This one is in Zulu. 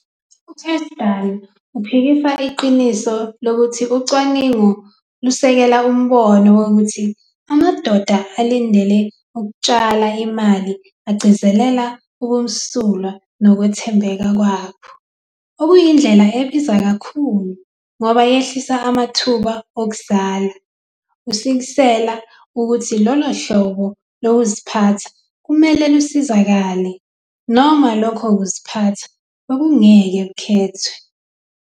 UCashdan uphikisa iqiniso lokuthi ucwaningo lusekela umbono wokuthi amadoda alindele ukutshala imali agcizelela ubumsulwa nokwethembeka kwabo, okuyindlela ebiza kakhulu, ngoba yehlisa amathuba okuzala, kusikisela ukuthi lolo hlobo lokuziphatha kumele lusizakale, noma lokho kuziphatha bekungeke zikhethiwe.